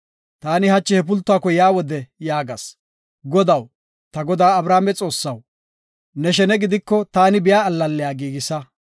“Taani hachi he pultuwako yaa wode yaagas; ‘Godaw, ta godaa Abrahaame Xoossaw, ne shene gidiko, taani biya allalliya giigisa.